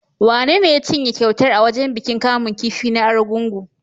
Wanene ya cinye kyautar a wajen bikin kamun kifi na Argungu?